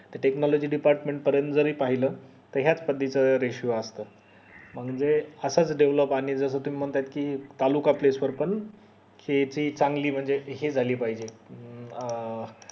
technology department पर्यंत जरी पाहिलं त याच पद्धतीचा ratio असतो म्हणजे असच develop आणि जर म्हणतात कि तालुका place पण हे ते चांगली म्हणजे हे झाली पाहिजे अं